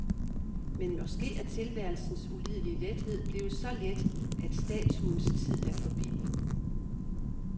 Men måske er tilværelsens ulidelige lethed blevet så let, at statuens tid er forbi.